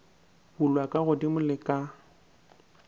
bulwa ka godimo le ka